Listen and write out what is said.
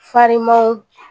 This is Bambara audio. Farinmaw